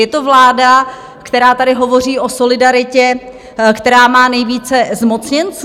Je to vláda, která tady hovoří o solidaritě, která má nejvíce zmocněnců.